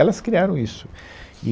Elas criaram isso. E